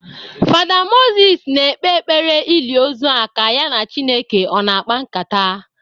Fada Moses na-ekpe ekpere ili ozu a ka ya na Chineke ọ na-akpa nkata.